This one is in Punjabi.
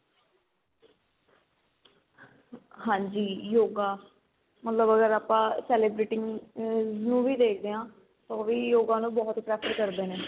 ਹਾਂਜੀ yoga ਮਤਲਬ ਅਗਰ ਆਪਾਂ celebrity ਨੂੰ ਵੀ ਦੇਖਦੇ ਆ ਉਹ ਵੀ yoga ਨੂੰ ਬਹੁਤ prefer ਕਰਦੇ ਨੇ